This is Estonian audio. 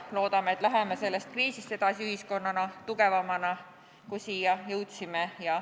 Loodame, et läheme sellest kriisist edasi ühiskonnana tugevamana, kui siia jõudsime.